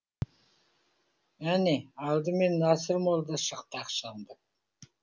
әне алдымен насыр молда шықты ақсаңдап